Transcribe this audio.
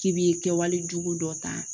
K'i bi kɛwale jugu dɔ ta